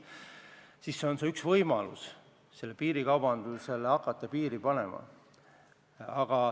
Me pidasime seda üheks võimaluseks hakata piirikaubandusele piiri panema.